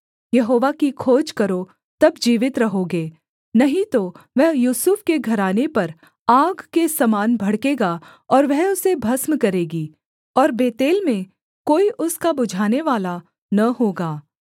यहोवा की खोज करो तब जीवित रहोगे नहीं तो वह यूसुफ के घराने पर आग के समान भड़केगा और वह उसे भस्म करेगी और बेतेल में कोई उसका बुझानेवाला न होगा